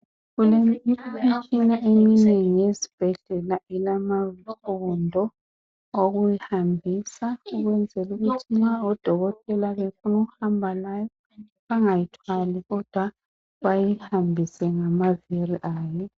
Imitshina eminengi esibhedlela ilamaviri wokuhambisa. Nxa udokotela efuna ukuhamba layo bangayithwali bayihambise ngamaviri ayo.